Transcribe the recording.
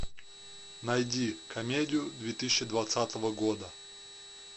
найди комедию две тысячи двадцатого года